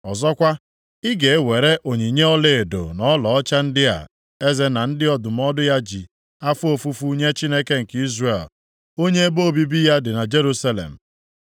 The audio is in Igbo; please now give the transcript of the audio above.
Ọzọkwa, ịga e were onyinye ọlaedo na ọlaọcha ndị a eze na ndị ndụmọdụ ya ji afọ ofufu nye Chineke nke Izrel, onye ebe obibi ya dị na Jerusalem.